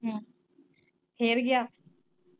ਹਮ ਫਿਰ ਗਿਆ।